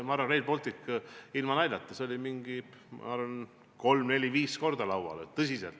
Ma arvan, et Rail Baltic – ilma naljata – oli umbes kolm-neli-viis korda laual.